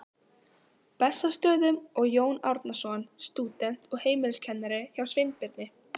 Bessastöðum og Jón Árnason, stúdent og heimiliskennari hjá Sveinbirni